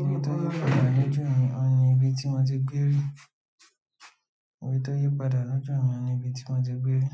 Ibi tí o yípadà lójú mi oun ni ibi tí mo ti gbé rí. Ibi tí o yípadà lójú mi ni ibi tí mo ti gbé rí.